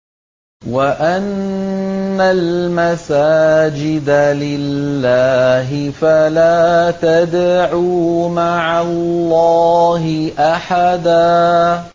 وَأَنَّ الْمَسَاجِدَ لِلَّهِ فَلَا تَدْعُوا مَعَ اللَّهِ أَحَدًا